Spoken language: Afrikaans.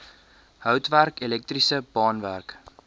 houtwerk elektriese baanwerk